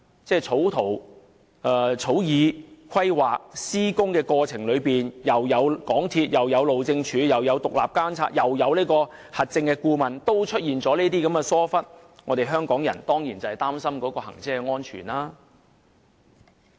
即使在草擬圖則、規劃以致施工的過程中，港鐵公司、路政署、獨立監察和核證顧問均有參與，但也出現上述的疏忽情況，香港人當然會擔心高鐵的行車安全。